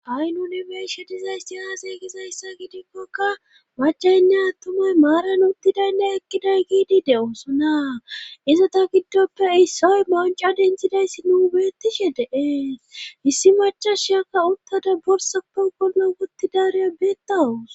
ha7i nune beeshe dizaysti aazey gizayssa gidikkokka macaynne attumey maaran uttidaynne ekkiday giidi de7osona izota giddoppe issoy manca denthidayssi nuu beettishe deees hissi machasheyakka uttada borsappe gollo uttidareya beettawus